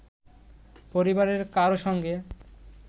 পরিবারের কারও সঙ্গে